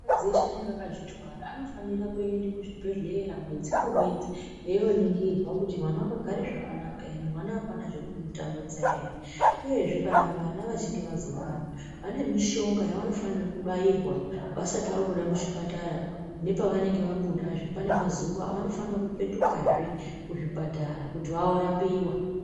Akadzi eshe anenge akazvitwara anofana kuende kuzvibhedhlera mwedzi ngemwedzi eioningirwa kuti mwana wakagara zvakanaka here, mwana apana zviri kumutambudza here, uyezve kana vana vachinge vazobarwa vane mishonga yavanofanira kubairwa vasati vabuda muchipatara nepavanenge vabudazve pane mazuva avanofana kupetukazve kuzvipatara kuti vaorapiwa